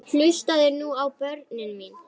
Hlustið nú á, börnin mín.